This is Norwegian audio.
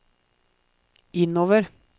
innover